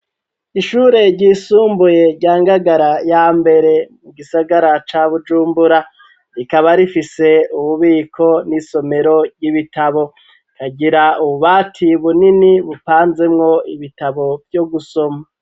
Ishure ryisumbuye ryangagara ya mbere mu gisagara ca bujumbura rikaba rifise ububiko n'isomero ry'ibitabo rikagira ububati bunini bupanzemwo ibitabo vyo gusoma.